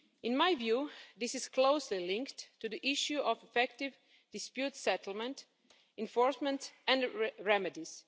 In my view, this is closely linked to the issue of effective dispute settlement enforcement and remedies.